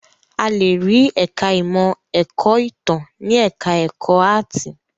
A le rí ẹ̀ka-ìmọ̀ ẹ̀kọ́-ìtàn ní ẹ̀ka-ẹ̀kọ́ áátì.